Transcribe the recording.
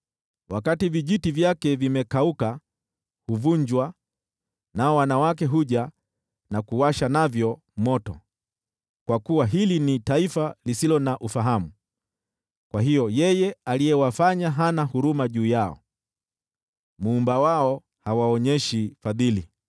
Wakati vijiti vyake vimekauka, huvunjwa nao wanawake huja na kuwasha navyo moto. Kwa kuwa hili ni taifa lisilo na ufahamu, kwa hiyo yeye aliyewafanya hana huruma juu yao, Muumba wao hawaonyeshi fadhili.